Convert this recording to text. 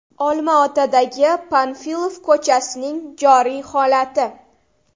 Olmaotadagi Panfilov ko‘chasining joriy holati.